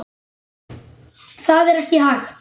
Það er ekki hægt